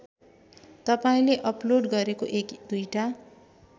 तपाईँले अपलोड गरेको एक दुईटा